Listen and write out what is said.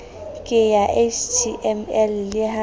ke ya html le ha